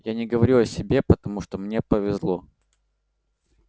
я не говорю о себе потому что мне повезло